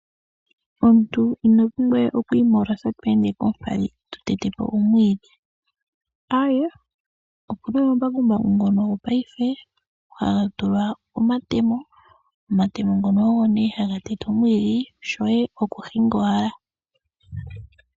Omuntu ina pumbwa we okwii molosa tweende koompadhi to tetepo omwiidhi, aaye opuna omambakumbaku ngono gopaife haga tulwa omatemo ,omatemo ngono ogo ne haga tete omwiidhi shoye oku hinga owala.